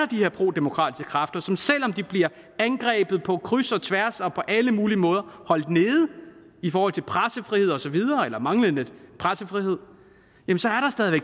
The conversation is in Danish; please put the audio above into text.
de her prodemokratiske kræfter som selv om de bliver angrebet på kryds og tværs og på alle mulige måder holdt nede i forhold til pressefrihed osv eller manglende pressefrihed